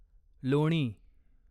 लोणी